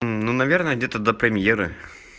ну наверное где-то до премьеры